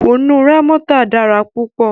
Kùnú Rámọ́tà dára púpọ̀